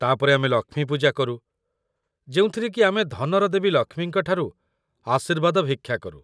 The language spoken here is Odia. ତା'ପରେ ଆମେ ଲକ୍ଷ୍ମୀ ପୂଜା କରୁ, ଯେଉଁଥିରେକି ଆମେ ଧନର ଦେବୀ ଲକ୍ଷ୍ମୀଙ୍କ ଠାରୁ ଆଶୀର୍ବାଦ ଭିକ୍ଷା କରୁ ।